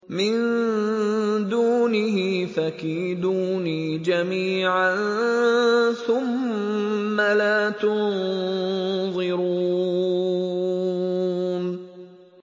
مِن دُونِهِ ۖ فَكِيدُونِي جَمِيعًا ثُمَّ لَا تُنظِرُونِ